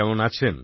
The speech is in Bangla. কেমন আছেন